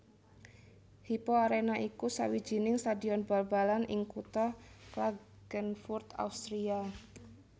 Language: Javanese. Hypo Arena iku sawijining stadion bal balan ing kutha Klagenfurt Austria